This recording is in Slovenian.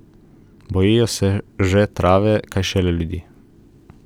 Bojijo se že trave, kaj šele ljudi.